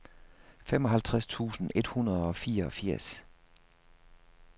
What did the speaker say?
femoghalvtreds tusind et hundrede og fireogfirs